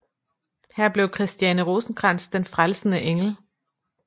Her blev Christiane Rosenkrantz den frelsende engel